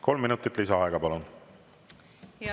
Kolm minutit lisaaega, palun!